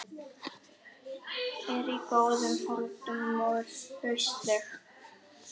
Vertu bara þakklátur fyrir hvað kaupið í unglingavinnunni var lágt.